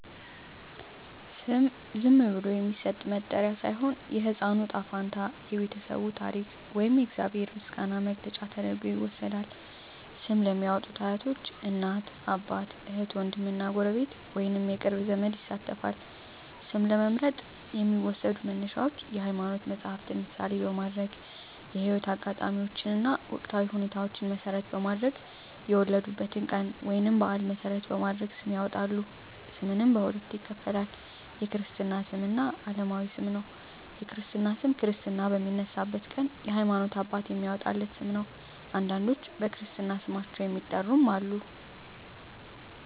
ስም ዝም ብሎ የሚሰጥ መጠሪያ ሳይሆን፣ የሕፃኑ ዕጣ ፈንታ፣ የቤተሰቡ ታሪክ ወይም የእግዚአብሔር ምስጋና መግለጫ ተደርጎ ይወሰዳል። ስም ለሚያዎጡት አያቶች፣ እናት አባት፣ እህት ዎንድም እና ጎረቤት ወይንም የቅርብ ዘመድ ይሳተፋል። ስም ለመምረጥ የሚዎሰዱ መነሻዎች የሀይማኖት መፀሀፍትን ምሳሌ በማድረግ፣ የህይወት አጋጣሚዎችን እና ወቅታዊ ሁኔታዎችን መሰረት በማድረግ፣ የወለዱበትን ቀን ወይንም በአል መሰረት በማድረግ ስም ያወጣሉ። ስምንም በሁለት ይከፈላል። የክርስትና ስም እና አለማዊ ስም ነው። የክርስትና ስም ክርስትና በሚነሳበት ቀን የሀይማኖት አባት የሚያዎጣለት ስም ነው። አንዳንዶች በክርስትና ስማቸው የሚጠሩም አሉ።